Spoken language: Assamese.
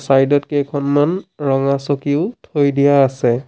চাইড ত কেইখনমান ৰঙা চকীও থৈ দিয়া আছে।